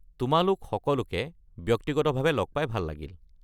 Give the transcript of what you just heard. তোমালোক সকলোকে ব্যক্তিগতভাৱে লগ পাই ভাল লাগিল।